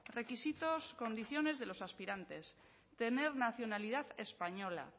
requisitos condiciones de los aspirantes tener nacionalidad española